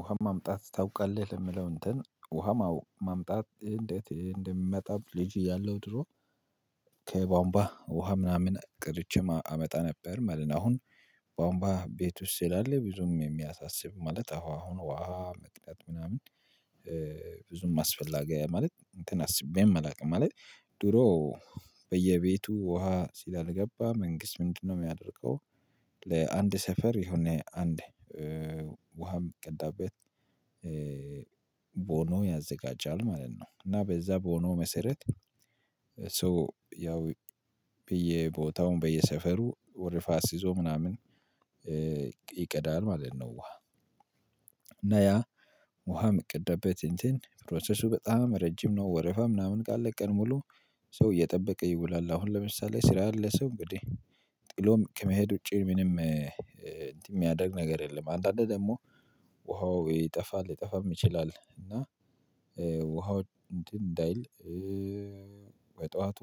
ውሃም ማምጣት ታውቃለህ የምለው እንትን ውሃም ማምጣት እንዴት እንደሚመጣብ ልጅ ያለው ድሮ ከቧውንቧ ውሃ ምናምን ቀድቼ አመጣ ነበር መለት ነው። አሁን ቧውንቧ ቤት ውስጥ ስላል ብዙም የሚያሳስብ ማለት አሁን ውሃ መቅዳት ምናምን። ብዙም አስፈላጊ ማለት እንትን አስቤ አላቅም ማለት። ድሮ በየቤቱ ውሃ ስላልገባ መንግስት ምንድነው የሚያደርገው? ለአንድ ሰፈር የሆነ አንድ ውሃም ሚቀዳበት ቦኖ ያዘጋጃል ማለት ነው። እና በዛ ቦኖ መሰረት ሶ ያው በየ ቦታውን በየሰፈሩ ወርፋት አሲዞ ምናምን ይቀዳል ማለት ነው። ውሃ እና ያ ውሃ የሚቀዳበት እንትን ፕሮሰሱ በጣም ረጅም ነው። ወረፋ ምናምን ካለ ቀን ሙሉ ሰው እየጠበቀ ይውላል። አሁን ለምሳሌ ስራ ያለ ሰው እንግዲህ ጥሎም ከመሄድ ውጪ ምንም እንትን የሚያደርግ ነገር የለም። አንዳንዴ ደግሞ ውሃው ይጠፋል ይጠፋም ይችላል። እና ውሃው እንትን እንዳይል በጥዋቱ